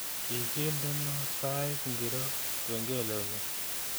Kigindeno sait ngiro kengelenyu